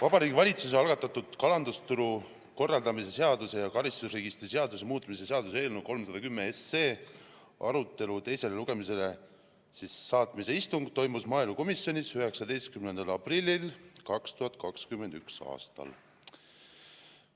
Vabariigi Valitsuse algatatud kalandusturu korraldamise seaduse ja karistusregistri seaduse muutmise seaduse eelnõu 310 teisele lugemisele saatmise istung toimus maaelukomisjonis 19. aprillil 2021. aastal.